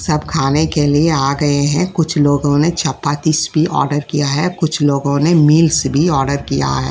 सब खाने के लिए आ गए हैं कुछ लोग ने चपाती इसकी आर्डर किया है कुछ लोगों ने मिल्स भी आर्डर किया है।